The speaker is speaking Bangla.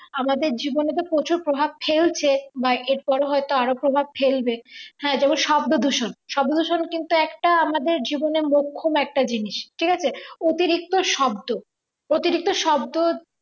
আমাদের জীবনে তো প্রচুর প্রভাব ফেলছে বা এর পরে হয়তো আরো প্রভাব ফেলবে হ্যাঁ যেমন শব্দ দূষণ শব্দ দূষণ কিন্তু একটা আমাদের জীবনের লক্ষ্যম একটা জিনিস ঠিক আছে অতিরিক্ত শব্দ অতিরিক্ত শব্দ